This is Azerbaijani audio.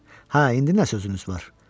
Hə, indi nə sözünüz var?